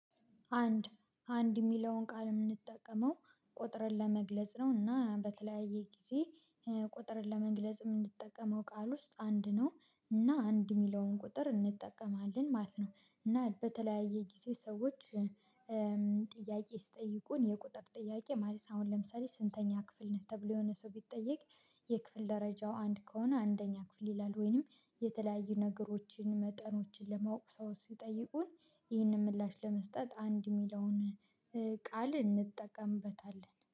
አንድ አንድ የሚለውን ቃል የምንጠቀመው ቁጥርን ለመግለጽ ነው እና በተለያየ ጊዜ ቁጥርን ለመግለጽ የምንጠቀመው ቃል ውስጥ አንድ ነው። እና አንድ የሚለውን ቁጥር እንጠቀማለን ማለት ነው። እና በተለያዩ ጊዜ ሰዎች ጥያቄ ሲጠይቁን የቁጥር ጥያቄ ማለት ነው። አሁን ለምሳሌ ስንተኛ ክፍል ነህ? ተብሎ የሆነ ሰው ቢጠየቅ የክፍል ደረጃው አንድ ከሆነ አንደኛ ክፍል ይላል። ወይንም የተለያዩ ነገሮችን መጠኖችን ለማወቅ ሰው ሲጠይቁን ይህንን ምላሽ ለመስጠት አንድ የሚለውን ቃል እንጠቀምበታለን